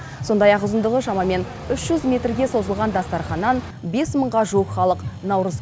сондай ақ ұзындығы шамамен үш жүз метрге созылған дастарханнан бес мыңға жуық халық наурыз